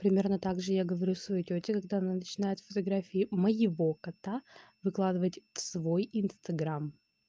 примерно так же я говорю своей тете когда начинает фотографии моего кота выкладывать свой инстаграм